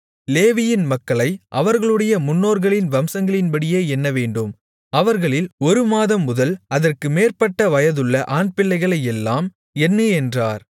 லேவியின் மக்களை அவர்களுடைய முன்னோர்களின் வம்சங்களின்படியே எண்ணவேண்டும் அவர்களில் ஒரு மாதம் முதல் அதற்கு மேற்பட்ட வயதுள்ள ஆண்பிள்ளைகளையெல்லாம் எண்ணு என்றார்